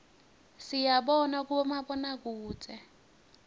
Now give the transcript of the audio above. siyibona kubomabonakudze